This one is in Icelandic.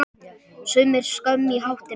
Sumir skömm í hattinn fá.